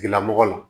Tigilamɔgɔ la